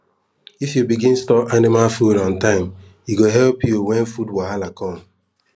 if you begin store anima food on time e go help you wen food wahala com